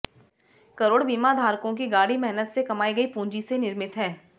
करोड़ बीमाधारकों की गाढ़ी मेहनत से कमाई गई पूंजी से निर्मित है